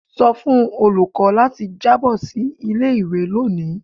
Sọ fun olukọ lati jabo si ile-iwe loni!